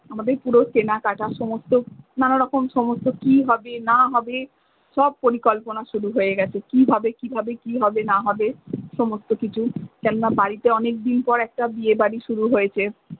আমাদের পুরো কেনাকাটা সমস্ত নানারকম সমস্ত কি হবে না হবে সব পরিকল্পনা শুরু হয়ে গেছে কিভাবে কিভাবে কি হবে না হবে সমস্ত কিছু যেন বাড়িতে অনেকদিন পর একটা বিয়েবাড়ি শুরু হয়েছে।